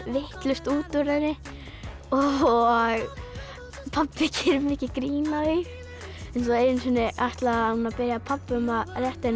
vitlaust út úr henni og pabbi gerir mikið grín að því einu sinni ætlaði hún að biðja pabba um að rétta henni